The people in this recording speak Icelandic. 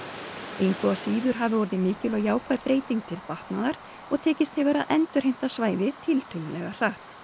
engu að síður hafi orðið mikil og jákvæð breyting til batnaðar og tekist hefur að endurheimta svæði tiltölulega hratt